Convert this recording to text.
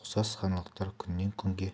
ұқсас жаңалықтар күннен-күнге